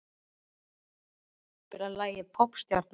Auðun, kanntu að spila lagið „Poppstjarnan“?